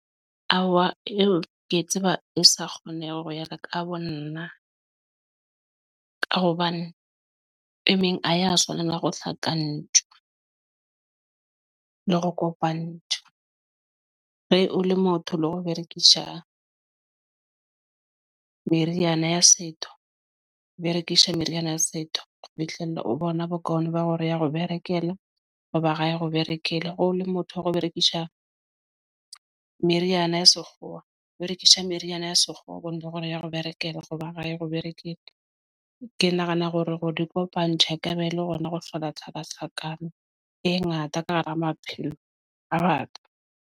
Ao eo ke e tseba e sa kgoneha hore yaka ka bo nna. Ka hobane e meng a ya tshwana. Na hohla ka ntwa ng le re kopa nthwe re o le motho le hore o berekisha ng Meriana ya setho Berekisha, Meriana ya setho, Fihlelle O bona bokaone ba hore ya re berekela hoba ra ya re o berekele hore o le motho o re o berekisha ng Meriana ya sekgowa berekisha Meriana ya sekgowa bone le rona ya ho berekela hoba rae ro berekishitje. Ke nahana hore di kopane check a be le rona Re hlola tshaba sakam e ngata ka hara maphelo a baka .